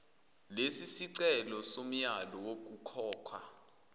lesisicelo somyalo wokukhokha